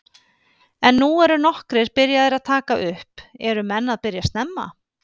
En nú eru nokkrir byrjaðir að taka upp, eru menn að byrja snemma?